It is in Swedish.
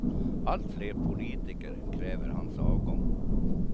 Allt fler politiker kräver hans avgång.